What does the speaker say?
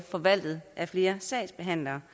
forvaltet af flere sagsbehandlere